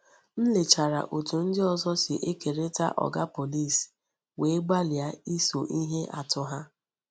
M lechara otú ndị ọzọ si ekerịta Oga Pọlịs wee gbalịa iso ihe atụ ha.